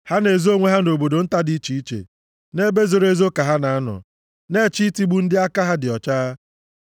Ha na-ezo onwe ha nʼobodo nta dị iche iche, nʼebe zooro ezo ka ha na-anọ, na-eche itigbu ndị aka ha dị ọcha.